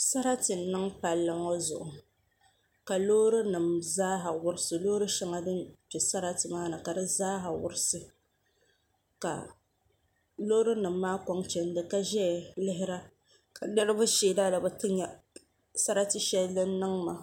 Sarati n niŋ palli ŋɔ zuɣu ka loori nim zaaha wurisi loori shɛŋa din bɛ sarati ŋɔ ni ka di zaaha wurisi ka loori nim maa koŋ chɛndi ka ʒɛya lihira ka niraba sheena ni bi ti nyɛ sarati shɛli din niŋ maa